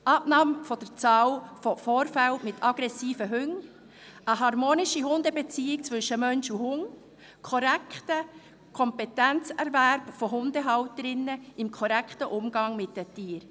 Abbauen der Anzahl Vorfälle mit aggressiven Hunden, eine harmonische Beziehung zwischen Mensch und Hund, korrekter Kompetenzerwerb von Hundehalterinnen und Hundehaltern im korrekten Umgang mit den Tieren.